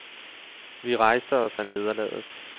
Vi rejste os af nederlaget.